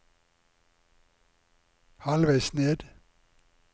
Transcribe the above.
halvveis ned